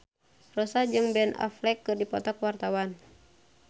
Rossa jeung Ben Affleck keur dipoto ku wartawan